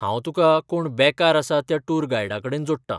हांव तुका कोण बेकार आसा त्या टूर गायडाकडेन जोडटां.